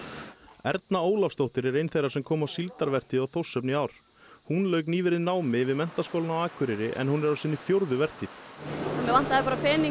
Erna Ólafsdóttir er ein þeirra sem koma á síldarvertíð á Þórshöfn í ár hún lauk nýverið námi við Menntaskólinn á Akureyri en hún er á sinni fjórðu vertíð mér vantaði bara pening